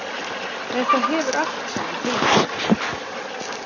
Þetta hefur allt saman tilgang.